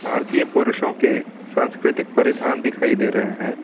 भारतीय पुरुषों के सांस्कृतिक परिधान दिखाई दे रहे हैं।